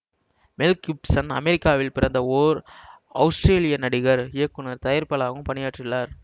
மெல் Gibson அமெரிக்காவில் பிறந்த ஓர் அவுஸ்ரேலிய நடிகர் இயக்குனர் தயாரிப்பாளராகவும் பணியாற்றியுள்ளார்